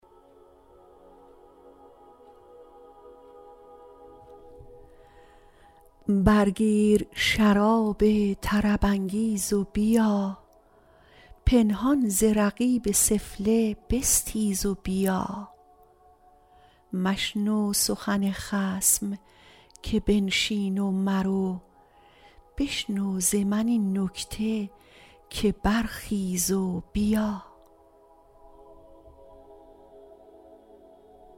بر گیر شراب طرب انگیز و بیا پنهان ز رقیب سفله بستیز و بیا مشنو سخن خصم که بنشین و مرو بشنو ز من این نکته که برخیز و بیا